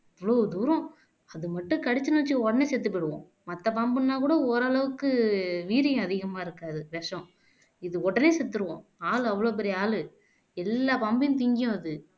அவ்வளவு தூரம் அது மட்டும் கடிச்சுதுன்னு வெச்சுக்கோ உடனே செத்துப் போயிடுவோம் மத்த பாம்புன்னாக்கூட ஓரளவுக்கு வீரியம் அதிகமா இருக்காது விஷம் இது உடனே செத்துருவோம் ஆள் அவ்வளவு பெரிய ஆளு எல்லா பம்பையும் திங்கும் அது